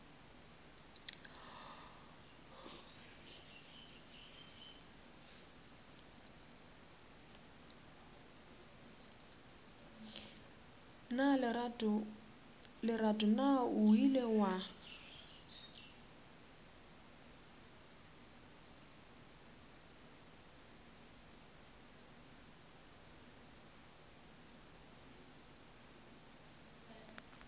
lerato na o ile wa